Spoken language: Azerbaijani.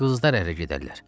Qızlar ərə gedərlər.